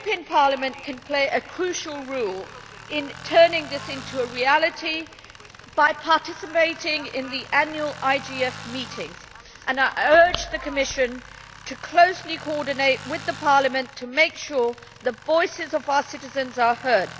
Parliament can play a crucial role in turning this into a reality by participating in the annual IGF meeting, and I urge the Commission to coordinate closely with Parliament to make sure the voices of our citizens are heard.